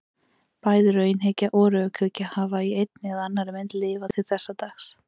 Bæði raunhyggja og rökhyggja hafa í einni eða annarri mynd lifað til þessa dags.